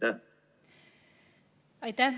Aitäh!